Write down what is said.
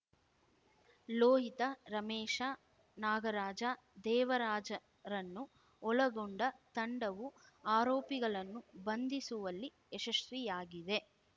ಲೋಹಿತ ರಮೇಶ ನಾಗರಾಜ ದೇವರಾಜರನ್ನು ಒಳಗೊಂಡ ತಂಡವು ಆರೋಪಿಗಳನ್ನು ಬಂಧಿಸುವಲ್ಲಿ ಯಶಸ್ವಿಯಾಗಿದೆ